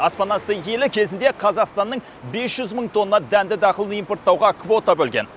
аспанасты елі кезінде қазақстанның бес жүз мың тонна дәнді дақылын импорттауға квота бөлген